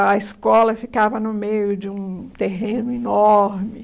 A escola ficava no meio de um terreno enorme.